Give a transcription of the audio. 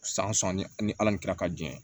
San sanni ni ala min kɛra ka jɛ